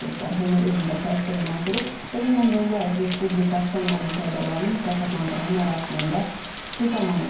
Bunu Elm və Təhsil Naziri Emin Əmrullayev Respublika Fənn Olimpiadalarını mükafatlandırma mərasimində çıxışı zamanı deyib.